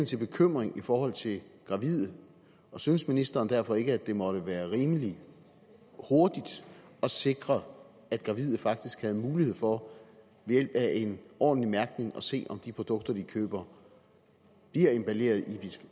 til bekymring i forhold til gravide synes ministeren derfor ikke at det må være rimelig hurtigt at sikre at gravide faktisk havde mulighed for ved hjælp af en ordentlig mærkning at se om de produkter de køber bliver emballeret